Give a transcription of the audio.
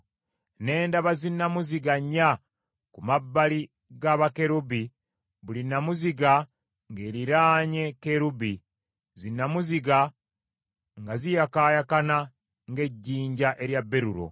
Ne ndaba zinnamuziga nnya ku mabbali ga bakerubi buli nnamuziga ng’eriraanye kerubi, zinnamuziga nga ziyakaayakana ng’ejjinja erya berulo.